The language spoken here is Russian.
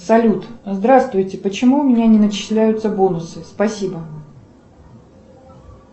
салют здравствуйте почему у меня не начисляются бонусы спасибо